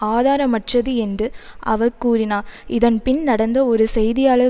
ஆதாரமற்றது என்றும அவர் கூறினார் இதன்பின் நடந்த ஒரு செய்தியாளர்